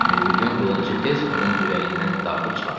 Mirmilyon qılıncı tez onun ürəyindən dartıb çıxartdı.